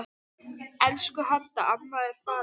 Elsku Hadda amma er farin.